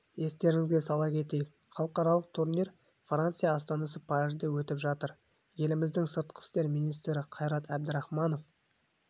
естеріңізге сала кетейік халықаралық турнир франция астанасы парижде өтіп жатыр еліміздің сыртқы істер министрі қайрат әбдірахманов